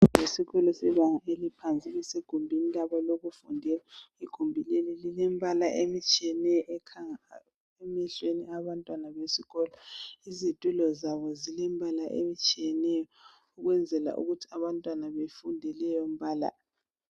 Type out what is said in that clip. isikolo sebanga eliphansi basegumbini labo lokufundela egumbini leli lmbala etshiyeneyo ekhanga emehloni wabantwana besikolo izitulo zabo zilembala ehlukeneyo ukuze abantwana befunde leyo mbala